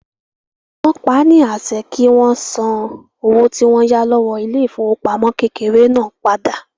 Wọ́n paá ní àṣẹ kí wọ́n san owó tí wọ́n yá lọ́wọ́ ilé ìfowópamọ́ kékeré náà padà